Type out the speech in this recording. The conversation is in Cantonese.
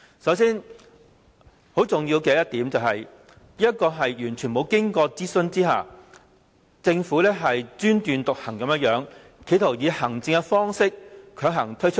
首先，很重要的一點，就是政府完全沒有經過諮詢，專斷獨行地企圖強行以行政方式推出方案。